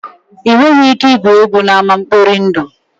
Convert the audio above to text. Ị nweghị ike igwu egwu n'ama nkpọri ndụ